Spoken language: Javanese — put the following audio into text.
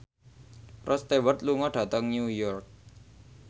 Rod Stewart lunga dhateng New York